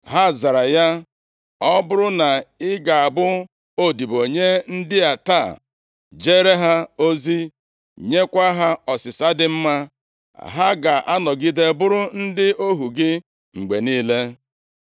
Ha zara ya, “Ọ bụrụ na ị ga-abụ odibo nye ndị a taa, jeere ha ozi, nyekwa ha ọsịsa dị mma, + 12:7 \+xt Ilu 15:1; 2Ih 10:7\+xt* ha ga-anọgide bụrụ ndị ohu gị mgbe niile.”